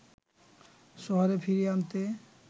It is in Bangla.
শহরে ফিরিয়ে আনতে